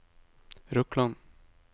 Røkland